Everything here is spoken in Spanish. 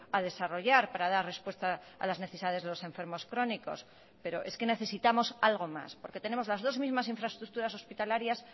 a desarrollar para dar respuesta a las necesidades de los enfermos crónicos pero es que necesitamos algo más porque tenemos las dos mismas infraestructuras hospitalarias